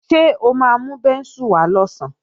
Ṣé o máa mú bẹ́ńsù wá lọ̀sán?